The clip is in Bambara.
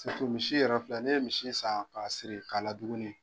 misi yɛrɛ filɛ n'i ye misi san k'a siri k'a laduguni.